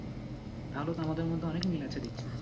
তাহলে তো আমাদের মধ্যে অনেক মিল আছে দেখছি।